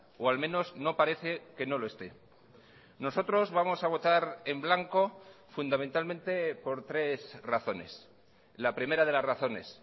o al menos no parece que no lo esté nosotros vamos a votar en blanco fundamentalmente por tres razones la primera de las razones